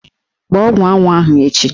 Gbaa ọgwụ anwụ ahụ echi!